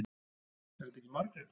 Er þetta ekki Margrét?